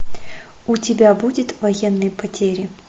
у тебя будет военные потери